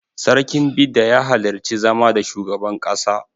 Sarkin Bida ya halarci zama da shugaban ƙasa.